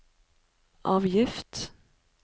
avgift